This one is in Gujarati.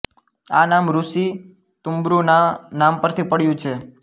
આ નામ ઋષિ તૂમ્બ્રૂ ના નામ પરથી પડ્યું છે